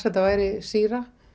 þetta væri sýra